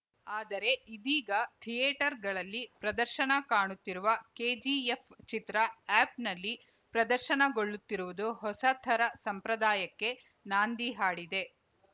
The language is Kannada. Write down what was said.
ಆದರೆ ಇದೀಗ ಥಿಯೇಟರ್‌ಗಳಲ್ಲಿ ಪ್ರದರ್ಶನ ಕಾಣುತ್ತಿರುವ ಕೆಜಿಎಫ್‌ ಚಿತ್ರ ಆ್ಯಪ್‌ನಲ್ಲಿ ಪ್ರದರ್ಶನಗೊಳ್ಳುತ್ತಿರುವುದು ಹೊಸ ಥರ ಸಂಪ್ರದಾಯಕ್ಕೆ ನಾಂದಿ ಹಾಡಿದೆ